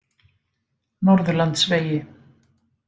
Norðurlandsvegi